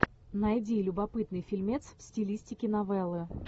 найди любопытный фильмец в стилистике новеллы